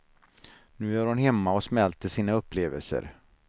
Nu är hon hemma och smälter sina upplevelser.